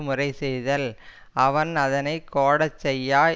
முறை செய்தல் அவன் அதனை கோடச் செய்யா